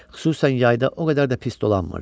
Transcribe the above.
Xüsusən yayda o qədər də pis dolanmırdı.